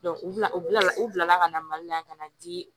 u bina u bila u bilala ka na mali la ka na di